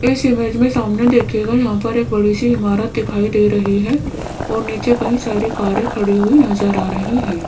इस इमेज में सामने देखिएगा यहां पर एक बड़ी सी इमारत दिखाई दे रही है और नीचे कई सारी कारें खड़ी हुई नजर आ रही है।